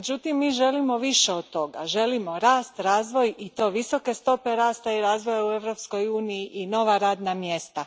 Međutim, mi želimo više od toga. Želimo rast, razvoj i to visoke stope rasta i razvoja u Europskoj uniji i nova radna mjesta.